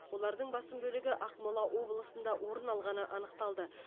олардың басым бөлігі ақмола облысында орын алғаны анықталды